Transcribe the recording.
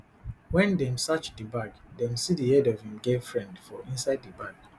wen dem search di bag dem see di head of im girlfriend for inside di bag